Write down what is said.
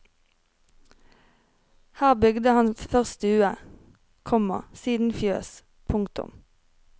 Her bygde han først stue, komma siden fjøs. punktum